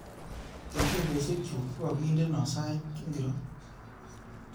Kengeleshekchuk kogagindeno sait ngiro